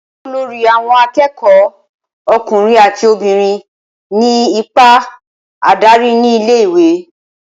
olórí àwon akékòó, ọkùnrin àti obìnrin ní ipa adarí ní ilé ìwé